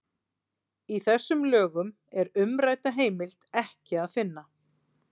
í þessum lögum er umrædda heimild ekki að finna